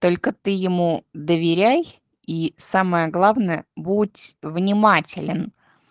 только ты ему доверяй и самое главное будь внимателен